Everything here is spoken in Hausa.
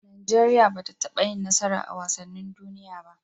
Nigeria bata taba yin nasara a wasanin duniya ba